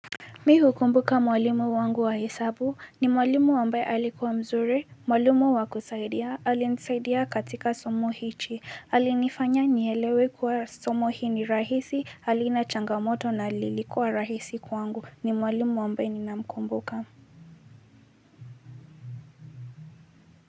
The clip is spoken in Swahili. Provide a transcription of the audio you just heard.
Mimi hukumbuka mwalimu wangu wa hesabu ni mwalimu wa mbali, alikuwa mzuri, mwalimu wa kusaidia, alinisaidia katika somo hili, alinifanya nielewe kwamba somo hili ni rahisi, alinichangamsha na lilikuwa rahisi kwangu, ni mwalimu wa mbali ninayemkumbuka.